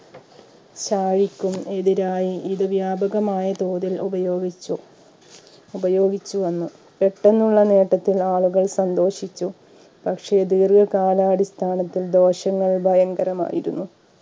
ചാഴിക്കും എതിരായി ഇത് വ്യാപകമായ തോതിൽ ഉപയോഗിച്ചു ഉപയോഗിച്ചു വന്നു പെട്ടെന്നുള്ള നേട്ടത്തിൽ ആളുകൾ സന്തോഷിച്ചു പക്ഷേ ദീർഘ കാലാടിസ്ഥാനത്തിൽ ദോഷങ്ങൾ ഭയങ്കരമായിരുന്നു